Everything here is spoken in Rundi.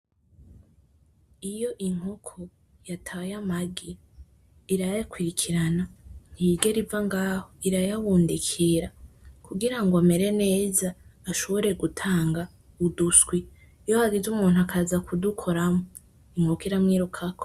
Iyo inkoko yataye amagi irayakurikirana, ntiyigera iva ngaho irayabundikira kugira amere neza ashobore gutanga uduswi, iyo hagize umuntu akaza kudukoramwo inkoko iramwirukako.